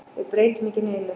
Við breytum ekki neinu.